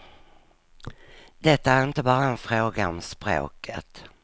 Det är inte bara en fråga om språket.